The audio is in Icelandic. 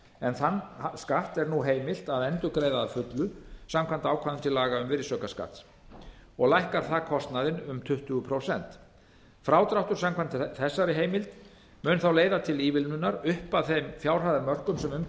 en þann skatt er nú heimilt að endurgreiða að fullu samkvæmt ákvæðum til laga um virðisaukaskatt og lækkar það kostnaðinn um tuttugu prósent frádráttur samkvæmt þessari heimild mun þá leiða til ívilnunar upp að þeim fjárhæðarmörkum sem um